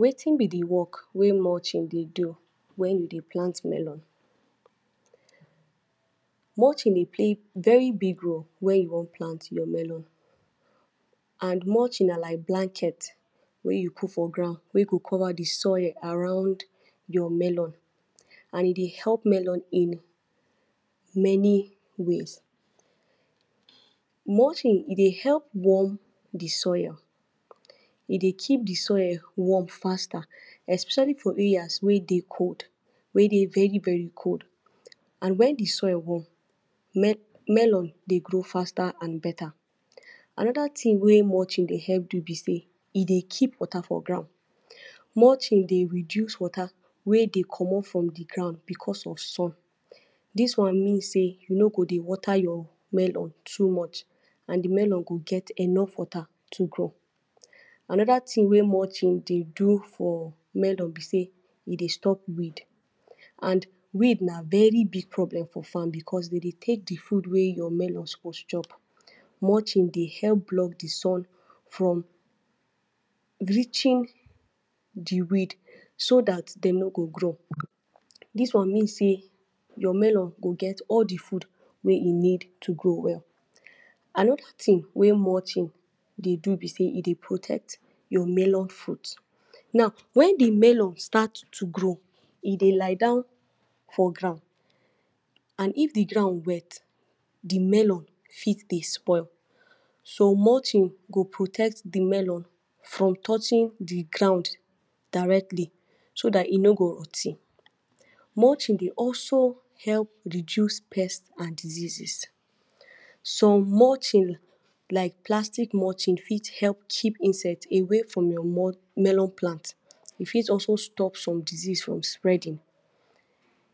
Wetin b de work wey mulching dey do wey u dey plant melon, mulching dey play very big role wen u wan plant your melon, and mulching na like blanket wey u put for ground wey go cover de soil around your melon and e dey melon in many ways, mulching e dey help warm de soil, e dey keep de soil warm faster, especially for areas wey dey cold, wey Dey very very cold, and wen de soil warm melon dey grow faster and better, another thing wey mulching dey help do b Dey e dey keep water for ground, mulching dey reduce water wey Dey commot from de ground because of sun, dis one mean sey you no go dey water your melon too much and de Melon go get enough water to grow, another thing wey mulching dey do for melon b dey e dey stop weed and weed na very big problem for farm because dem dey take de food wey your melon suppose chop. Mulching dey help block de sun from reaching de weed so dat dem no go grow, dis one mean sey your melon go get all de food wey e need to grow well, another thing wey mulching dey do b sey e dey protect your melon fruit, now wen de melon start to grow e dey lie down for ground and if de ground wet, de melon for dey spoil, so mulching go protect de melon from touching de ground directly, so dat e no go rot ten. Mulching dey also help dey reduce pest and diseases, some mulching like plastic mulching for help keep insect away from your melon plant e fit also stop some disease from spreading,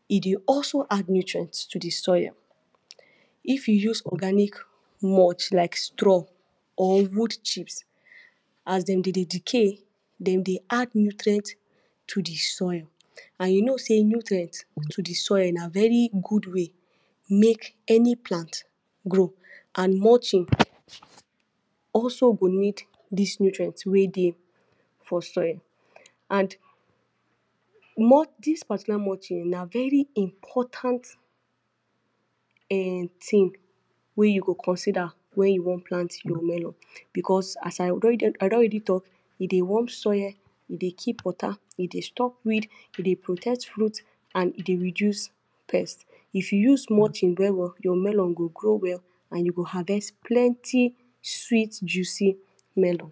e dey also add nutrient to de soil, if u use organic mulch like straw or root chips, as dem dey decay dem dey add nutrient to de soil and u know sey nutrient to de soil na very good way make any plant grow and mulching also go need dis nutrient wey dey for soil and dis particular mulching na ver important um thing wey you go consider wen you wan plant your melon because as I do already talk e dey warm soil, e dey keep water, e dey stop weed, e dey protect root and e dey reduce pest, if u use mulching well well your melon go grow well and you go harvest plenty sweet juicy melon.